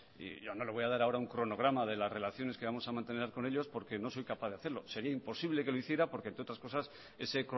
y yo no le voy a dar ahora un cronograma de las relaciones que vamos a mantener con ellos porque no soy capaz de hacerlo sería imposible que lo hiciera porque entre otras cosas ese